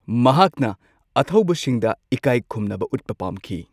ꯃꯍꯥꯛꯅ ꯑꯊꯧꯕꯁꯤꯡꯗ ꯏꯀꯥꯏ ꯈꯨꯝꯅꯕ ꯎꯠꯄ ꯄꯥꯝꯈꯤ꯫